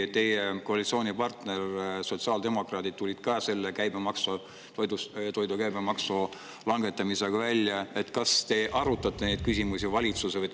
Kui teie koalitsioonipartner sotsiaaldemokraadid tulid ka toidu käibemaksu langetamisega välja, kas te arutasite neid küsimusi valitsuses?